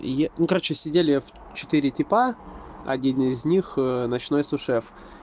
и ну короче сидели в четыре типа один из них ночной су-шеф